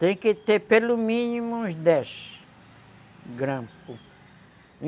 Tem que ter pelo mínimo uns dez, grampos.